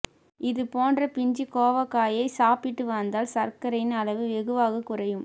இது போன்ற பிஞ்சு கோவைக்காயை சாப்பிட்டு வந்தால் சர்க்கரையின் அளவு வெகுவாக குறையும்